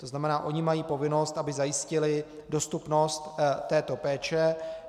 To znamená, ony mají povinnost, aby zajistily dostupnost této péče.